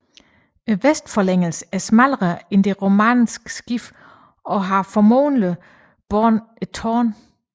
Vestforlængelsen er smallere end det romanske skib og har formodentlig båret et tårn